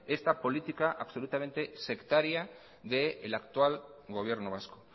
esta política absolutamente sectaria del actual gobierno vasco